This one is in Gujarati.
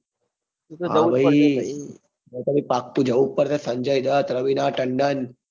હ ભાઈ એતો પાક્કું જવું જ પડશે સંજય દત્ત રવીનમાં તંડન